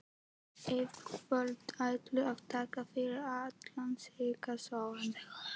Yfirvöld ættu að taka fyrir alla slíka sóun.